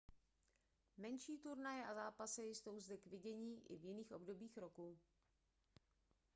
menší turnaje a zápasy jsou zde k vidění i v jiných obdobích roku